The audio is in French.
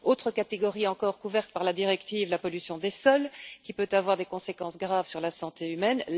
Autre catégorie encore couverte par la directive la pollution des sols, qui peut avoir des conséquences graves sur la santé humaine.